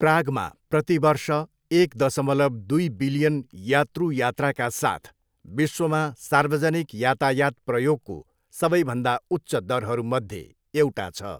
प्रागमा प्रति वर्ष एक दसमलव दुई बिलियन यात्रु यात्राका साथ विश्वमा सार्वजनिक यातायात प्रयोगको सबैभन्दा उच्च दरहरूमध्ये एउटा छ।